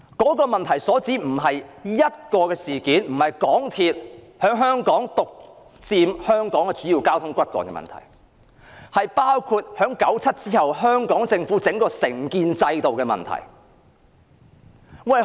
這個問題所涉及的並非單一事件，也不是香港鐵路有限公司獨佔香港主要交通的問題，而是1997年後政府的承建制度問題。